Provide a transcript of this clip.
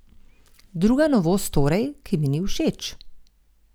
Druga novost torej, ki mi ni všeč.